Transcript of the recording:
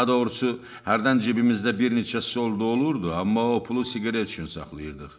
Daha doğrusu hərdən cibimizdə bir neçə solda olurdu, amma o pulu siqaret üçün saxlayırdıq.